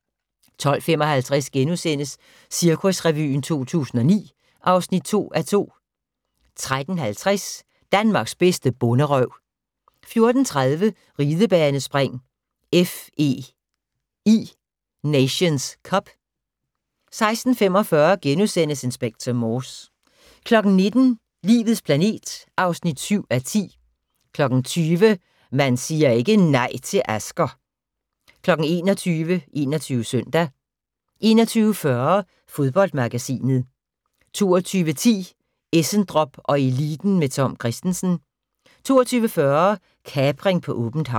12:55: Cirkusrevyen 2009 (2:2)* 13:50: Danmarks bedste bonderøv 14:30: Ridebanespring: FEI Nations Cup 16:45: Inspector Morse * 19:00: Livets planet (7:10) 20:00: Man siger ikke nej til Asger! 21:00: 21 Søndag 21:40: Fodboldmagasinet 22:10: Essendrop & eliten med Tom Kristensen 22:40: Kapring på åbent hav